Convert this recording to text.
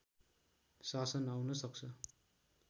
शासन आउन सक्छ